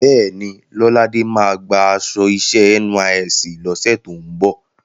Bẹ́ẹ̀ni, Lọ́ládé máa gba aṣọ iṣẹ́ NYSC lọ́sẹ̀ tó ń bọ̀.